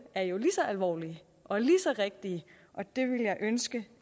er jo lige så alvorlige og lige så rigtige og det ville jeg ønske